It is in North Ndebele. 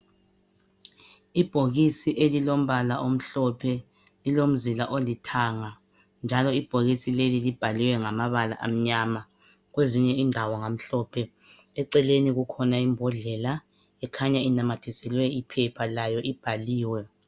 Ibhokisi elilombala omhlophe lilomzila olithanga, njalo ibhokisi lelo libhalwe ngamabala amnyama, kwezinye indawo ngamhlophe. Eceleni kukhona imbodlela ekhanya inamathiselwe iphepha layo ibhaliwe